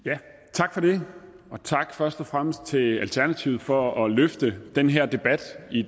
tak for det og tak først og fremmest til alternativet for at løfte den her debat i